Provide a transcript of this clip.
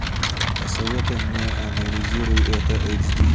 посоветуй мне анализируй это эйч ди